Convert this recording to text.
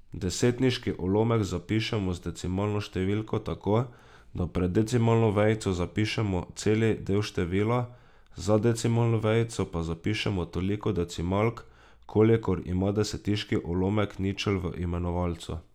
Desetiški ulomek zapišemo z decimalno številko tako, da pred decimalno vejico zapišemo celi del števila, za decimalno vejico pa zapišemo toliko decimalk, kolikor ima desetiški ulomek ničel v imenovalcu.